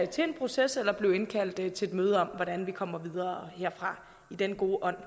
til en proces eller blive indkaldt til et møde om hvordan vi kommer videre herfra i den gode ånd